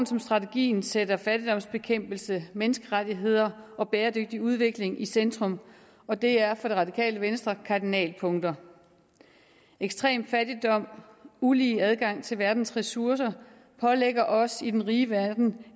som strategien sætter fattigdomsbekæmpelse menneskerettigheder og bæredygtig udvikling i centrum og det er for det radikale venstre kardinalpunkter ekstrem fattigdom og ulige adgang til verdens ressourcer pålægger os i den rige verden